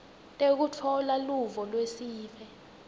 tekutfola luvo lwesive